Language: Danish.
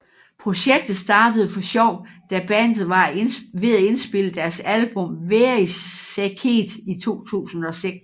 Projektet startede for sjov da bandet var ved at indspille deres album Verisäkeet i 2006